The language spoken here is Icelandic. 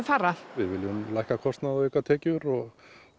fara við viljum lækka kostnað og auka tekjur og